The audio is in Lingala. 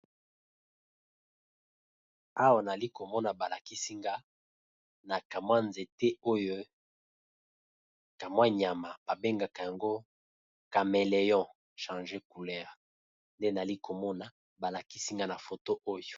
Awa nalikomona balakisi nga na ka mwa nzete oyo ka mwa nyama ba bengaka yango cameleon changé couler, nde nali komona balakisi nga na foto oyo.